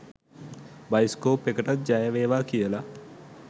bioscope එකටත් ජය වේවා කියලා